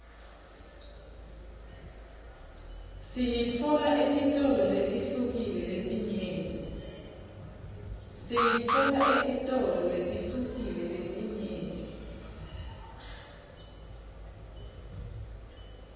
siyitfola etitolo letihlukile letinyenti